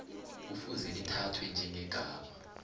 kufuze lithathwe njengegama